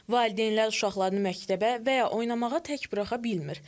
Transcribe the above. Valideynlər uşaqlarını məktəbə və ya oynamağa tək buraxa bilmir.